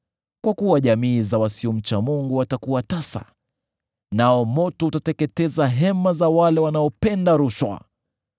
Kwa kuwa jamii ya wasiomcha Mungu watakuwa tasa, nao moto utateketeza hema za wale wanaopenda rushwa.